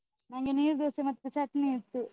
ನಂಗೆ ನೀರ್ ದೋಸೆ ಮತ್ತೆ ಚಟ್ನಿ ಇತ್ತು.